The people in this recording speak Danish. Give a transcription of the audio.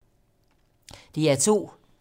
DR2